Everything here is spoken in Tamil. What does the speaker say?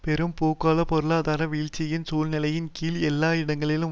பெரும் பூகோள பொருளாதார வீழ்ச்சியின் சூழ்நிலையின் கீழ் எல்லா இடங்களிலும்